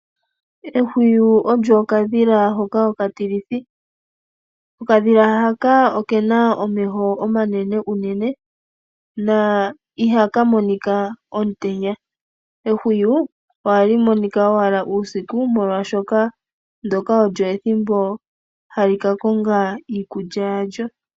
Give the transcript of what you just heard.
Ehwiyu olyo okadhila hoka okatilithi. Okadhila haka oke na omeho omanene unene na ihaka monika omutenya. Ehwiyu ohali monika owala uusiku, molwashoka ndyoka olyo ethimbo hali ka konga iikulya yalyo.